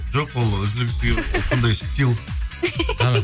жоқ ол үзілгісі кеп ол сондай